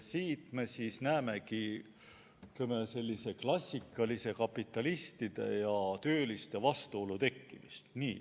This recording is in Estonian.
Siit me näemegi klassikalise kapitalistide ja tööliste vastuolu tekkimist.